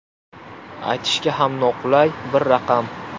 Aytishga ham noqulay bir raqam.